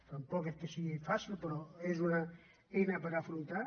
tampoc és que sigui fàcil però és una eina per afrontar